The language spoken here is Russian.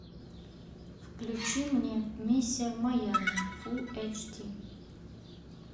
включи мне миссия в майами фул эйч ди